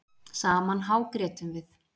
Saman hágrétum við.